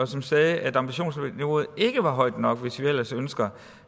som sagde at ambitionsniveauet ikke er højt nok hvis vi ellers ønsker